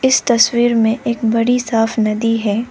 इस तस्वीर में एक बड़ी साफ नदी है।